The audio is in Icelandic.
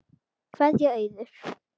Kveðja, Auður.